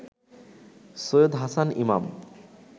Syed Hasan Imam